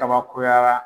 Kabakoya